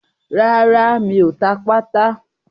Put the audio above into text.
Rárá, mi ò ta pátà.